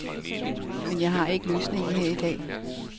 Men jeg har ikke løsningen her i dag.